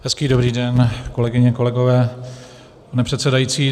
Hezký dobrý den, kolegyně, kolegové, pane předsedající.